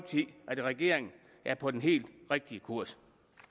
regeringen er på den helt rigtige kurs